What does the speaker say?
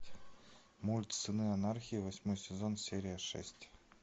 мульт сыны анархии восьмой сезон серия шесть